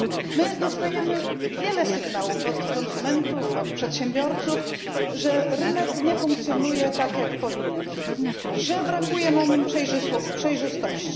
My dostajemy wiele sygnałów od konsumentów, od przedsiębiorców, że rynek nie funkcjonuje tak jak powinien, że brakuje na nim przejrzystości.